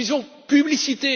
nous disons publicité.